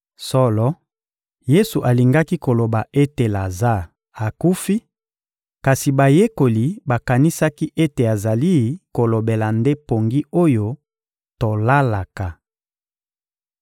Solo, Yesu alingaki koloba ete Lazare akufi, kasi bayekoli bakanisaki ete azali kolobela nde pongi oyo tolalaka.